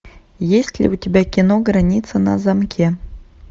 есть ли у тебя кино граница на замке